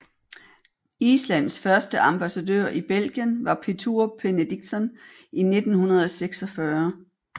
Islands første ambassadør i Belgien var Pétur Benediktsson i 1946